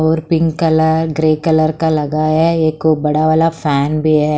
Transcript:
और pink colour grey colour का लगा है एक बड़ा वाला फैन भी है।